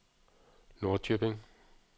Norrköping